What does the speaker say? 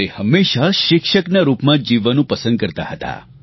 તે હંમેશા શિક્ષકના રૂપમાં જ જીવવાનું પસંદ કરતાં હતાં